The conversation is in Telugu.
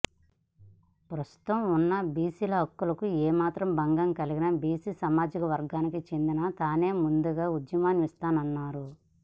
ప్రస్తుతం ఉన్న బిసిల హక్కులకు ఏ మాత్రం భంగం కలిగినా బిసి సామాజికవర్గానికి చెందిన తానే ముందుగా ఉద్యమిస్తానన్నారు